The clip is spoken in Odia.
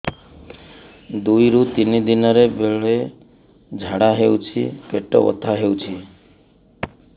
ଦୁଇରୁ ତିନି ଦିନରେ ବେଳେ ଝାଡ଼ା ହେଉଛି ପେଟ ବଥା ହେଉଛି